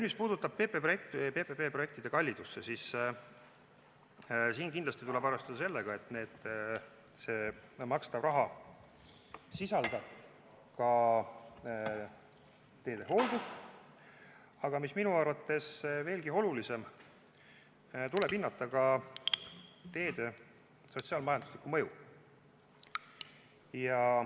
Mis puudutab PPP projektide kallidust, siis siin tuleb kindlasti arvestada sellega, et see makstav raha sisaldab ka teede hooldust, aga, mis on minu arvates veelgi olulisem, tuleb hinnata ka teede sotsiaal-majanduslikku mõju.